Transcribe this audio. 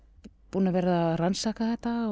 búin að vera að rannsaka þetta